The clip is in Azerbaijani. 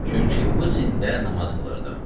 Çünki bu sində namaz qılırdım.